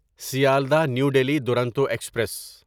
Sealdah New Delhi Duronto express